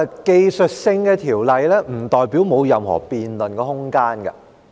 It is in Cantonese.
技術性的條例，不代表沒有任何辯論的空間。